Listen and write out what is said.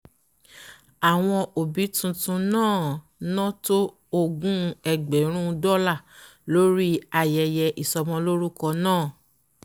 àwọn ọ̀bí titun náà ná tó ógún ẹgbẹ̀rún dọ́là lórí ayeye ìsọmọ́lọ́rukọ náà